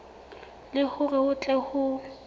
le hore ho tle ho